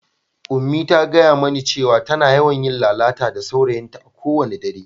Unmie ta gaya mani cewa tana yawan yin lalata da saurayinta a kowane dare.